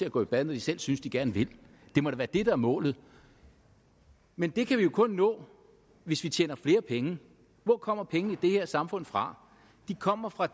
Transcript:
at gå i bad når de selv synes de gerne vil det må da være det der er målet men det kan vi jo kun nå hvis vi tjener flere penge hvor kommer pengene i det her samfund fra de kommer fra